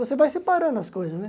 Você vai separando as coisas, né?